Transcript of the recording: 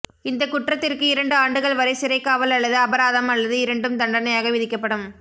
இந்த குற்றத்திற்கு இரண்டு ஆண்டுகள் வரை சிறைக்காவல் அல்லது அபராதம் அல்லது இரண்டும் தண்டனையாக விதிக்கப்படும்